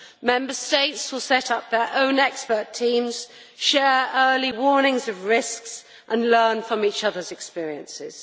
Member States will set up their own expert teams, share early warnings of risks and learn from each other's experiences.